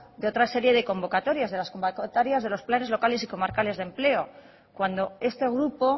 de otra serie de convocatorias de las convocatorias de los planes locales y comarcales de empleo cuando este grupo